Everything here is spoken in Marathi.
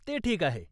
ते ठीक आहे.